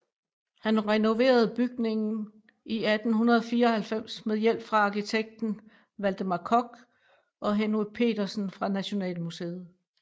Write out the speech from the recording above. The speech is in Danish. Han renoverede bygningen i 1894 med hjælp fra arkitekten Valdemar Koch og Henry Petersen fra Nationalmuseet